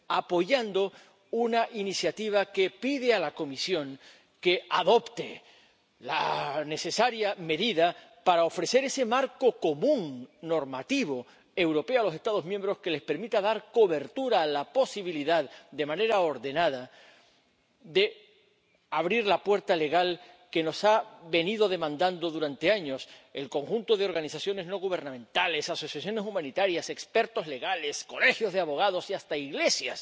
lo correcto apoyando una iniciativa que pide a la Comisión que adopte la necesaria medida para ofrecer ese marco común normativo europeo a los Estados miembros, que les permita dar cobertura a la posibilidad, de manera ordenada, de abrir la puerta legal que nos ha venido demandando durante años el conjunto de organizaciones no gubernamentales, asociaciones humanitarias, expertos legales, colegios de abogados y hasta